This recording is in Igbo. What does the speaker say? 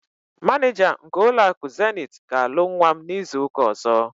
Manịja nke ụlọakụ Zenith ga-alụ nwa m n'izuụka ọ̀zọ́.